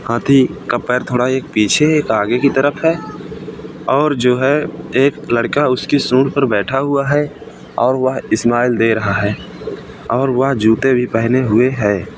हाथी का पैर एक थोड़ा पीछे एक आगे की तरफ है और जो है एक लड़का उसके सूंड पर बैठा हुआ है और वह स्माइल दे रहा है और वह जूते भी पहने हुए है।